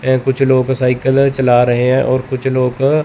ए कुछ लोग का साइकल चला रहे हैं और कुछ लोग--